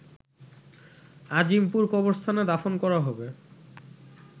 আজিমপুর কবরস্থানে দাফন করা হবে